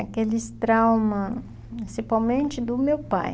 Aqueles traumas, principalmente do meu pai.